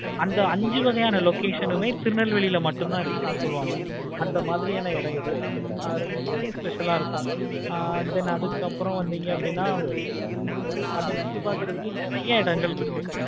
அந்த அஞ்சுவதே location திருநெல்வேலில மட்டும் தான் இருக்கு சொல்லுவாங்க அந்த மாதிரியான மெசேஜ் இது ஆஹ் rombave special ஆஹ் இருக்கு. then அதுக்கு அப்பறம் வந்திங்க அப்படினா உம் அத சுத்தி பார்க்கிறதுக்கு நெறைய இடங்கள் இருக்கு.